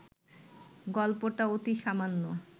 গল্পটা অতি সামান্য